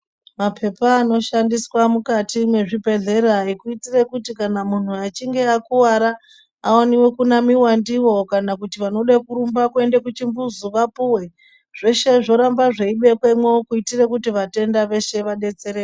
Maphepha anoshandiswa mukati mwezvibhedhlera ekuitire kuti kana muntu achinge akuwara aone kunamiwa ndiwo, kana kuti vanode kurumba kuenda kuchimbuzi vapuwe. Zveshe zvoramba zveibekwemo kuitora kuti vatenda veshe vadetsereke.